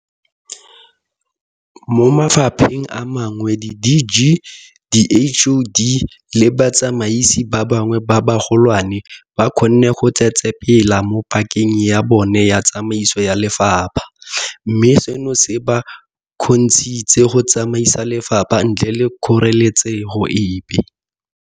Mo mafapheng a mangwe di-DG, di-HoD le batsamaisi ba bangwe ba bagolwane ba kgonne go tsetsepela mo pakeng ya bona ya tsamaiso ya lefapha, mme seno se ba kgontshitse go tsamaisa lefapha ntle le kgoreletso epe.